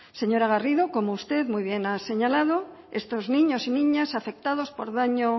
señora garrido como usted muy bien ha señalado estos niños y niñas afectados por daño